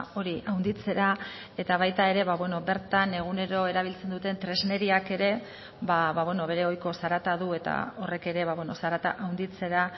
hori handitzera eta baita ere bertan egunero erabiltzen duten tresneriak ere bere ohiko zarata du eta horrek ere zarata handitzera